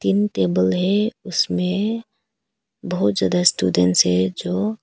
table है उसमें बहुत ज्यादा स्टूडेंट है जो--